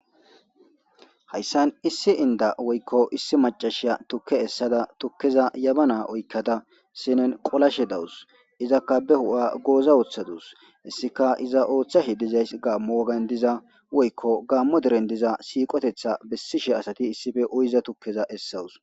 hayssan issi inda woykko issi macashiya tukke essada tukkeza yabana oykkada sinen qolashe dawus izakka be hu7a gooza ooththadus hessika iza ooththa hi dizays gaammo wagan diza woykko gaammo deren diza siiqotetha bessishe asati issife oyiza tukkeza essawus